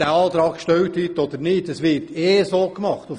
Diese wird ohnehin angewendet und darauf wird auch geachtet: